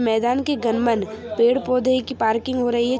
मैदान की गंबन पेड़ पोधे की पार्किंग हो रही है ।